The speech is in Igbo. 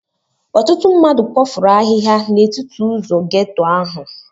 Ọtụtụ mmadụ kpofuru ahịhịa n'etiti ụzọ ghetto ahụ.